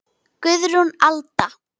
Guðrún Alda.